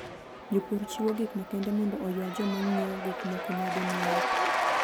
Jopur chiwo gik makende mondo oywa joma ng'iewo gik moko nyadinwoya.